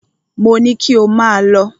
Mo ní kí ò máà lọ!